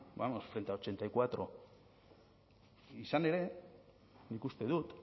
frente a ochenta y cuatro izan ere nik uste dut